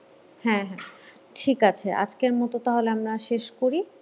হ্যাঁ হ্যাঁ ঠিক আছে আজকের মত তাহলে আমরা শেষ করি